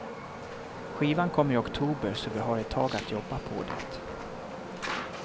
Skivan kommer i oktober så vi har ett tag att jobba på det.